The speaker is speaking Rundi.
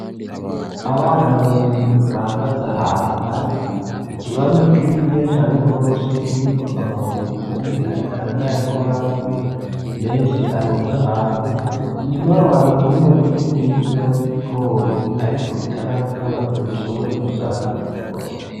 Abana babiri bahagaze ahantu har'ikibanza kininiya cane gose ,kirimwo amabuye umwe ariko aranayakoramwo menshi arunz 'ahantu, inyuma yaho har'umurima muniniya w'ibigori ariko bitarakura ngo bishobore gusarurwa.